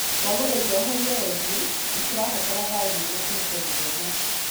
twagũthaitha ũhorie redio, nĩ tũrabatara thayũ nĩguo tũhote gũthoma.